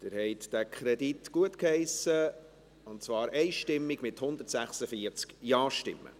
Sie haben diesen Kredit gutgeheissen, und zwar einstimmig mit 146 Ja-Stimmen.